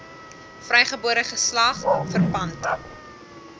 vrygebore geslag verpand